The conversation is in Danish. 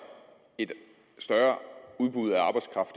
et større udbud af arbejdskraft